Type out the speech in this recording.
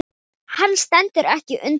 Hann stendur ekki undir sér.